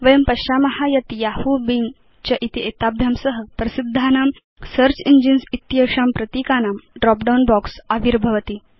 वयं पश्याम यत् यहू बिंग च इति एताभ्यां सह प्रसिद्धानां सेऽर्च इंजिन्स् इत्येषां प्रतीकानां ड्रॉप डाउन बॉक्स आविर्भवति